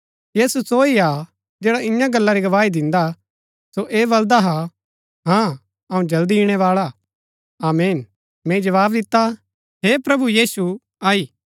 यीशु सो हा जैड़ा इन्या गल्ला री गवाही दिन्दा सो ऐह बलदा हाँ अऊँ जल्दी इणैवाळा हा आमीन मैंई जवाव दिता हे प्रभु यीशु आई